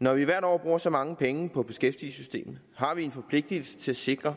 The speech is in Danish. når vi hvert år bruger så mange penge på beskæftigelsessystemet har vi også en forpligtelse til at sikre